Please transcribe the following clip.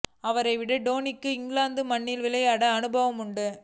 அவரை விட டோனிக்கு இங்கிலாந்து மண்ணில் விளையாடிய அனுபவம் உண்டு